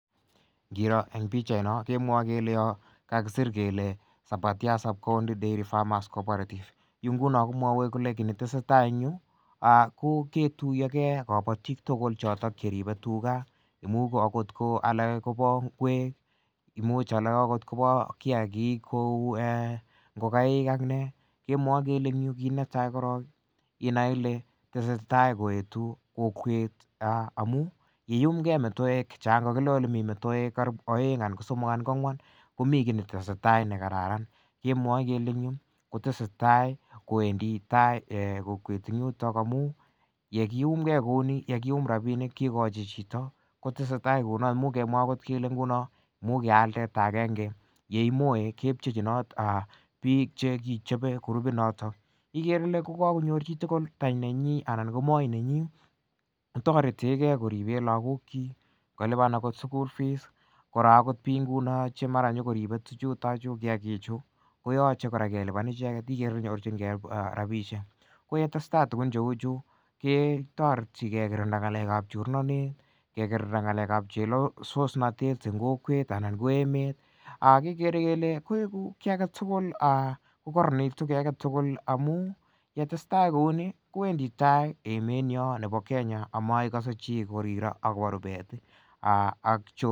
Kirooh en pichait non kakisir kele Sabatia sub-county dairy farmers cooperative. Yu ngunon komwae kele kit netesetai en yu ako kiruyoge kabatik tugul cheribe tuga. Amuun akoth alake koba nguek imuch alak akoth koba kiagik eh ingokaig ak ne kemwae kele inaei Ile tesetai koetu amuun kiyumge metoek karibu aeng anan kosomok anan ko ang'uan komi kit netesetai nekararan kemwae kele en yu kotesetai kwendi tai amuun yekiumge kouni yekikochi chito kotesetai kounon amuun kial teta agenge kemwae kechechinaat ichabe kurupit noto ikere Ile kakonyor chichi ko tany nenyin anan ko moi nenyin kotaretieken koriben lakok chik koluban akot sugul kora akoth bik ingunon cheribe tuchu kiagik chukoyache kelubani icheket tareti kekirnda ng'alekab chorindet kekerinda ng'alekab chelosos natet en kokwet anan ko emet koeku kiagetugul kokaranit amuun yetessetai kouni kwendi tai emoni bo Kenya amaikase chi korire akobo rubet